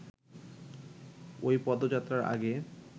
ওই পদযাত্রার আগে